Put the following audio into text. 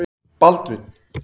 Baldvin